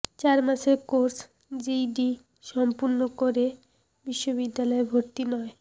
চার মাসের course GED সম্পন্ন করে বিশ্ববিদ্যালয়ে ভর্তি নয়